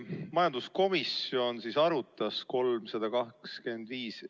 Majanduskomisjon arutas eelnõu 325.